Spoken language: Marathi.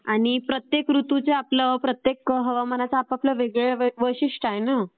आणि प्रत्येक ऋतूचं प्रत्येक हवामानाचं आपापलं वैशिष्ठ आहे ना.